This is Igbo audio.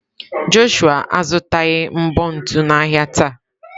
Jọshụa azụtaghị mbọ ntu n'ahịa taa.